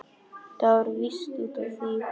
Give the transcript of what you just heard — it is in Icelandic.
Það var víst út af því!